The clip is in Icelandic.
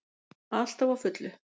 Alltaf á fullu.